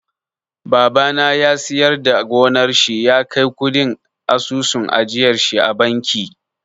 Babana ya siyar da gonar shi ya kai kuɗin asusun ajiyarshi a banki.